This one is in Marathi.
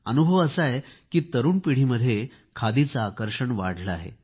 अनुभव असा आहे की तरूण पिढीमध्ये खादीचे आकर्षण वाढले आहे